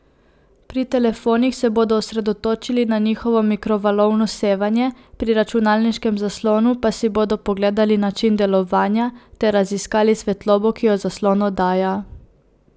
Pri telefonih se bodo osredotočili na njihovo mikrovalovno sevanje, pri računalniškem zaslonu pa si bodo pogledali način delovanja ter raziskali svetlobo, ki jo zaslon oddaja.